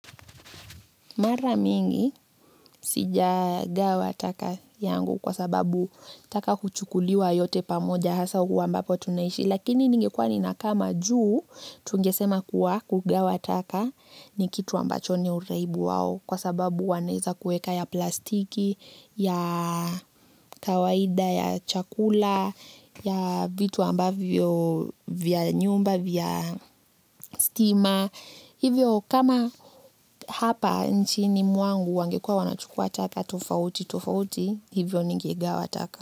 Mara mingi sijagawa taka yangu kwa sababu taka klhuchukuliwa yote pamoja hasa huwa ambapo tunaishi lakini ningekuwa ninakaa majuu tungesema kuwa kugawa taka ni kitu ambacho ni uraibu wao kwa sababu wanaeza kueka ya plastiki ya kawaida ya chakula ya vitu ambavyo vya nyumba vya stima. Hivyo kama hapa nchini mwangu wangekuwa wanachukua taka tofautitofauti, hivyo ningegawa taka.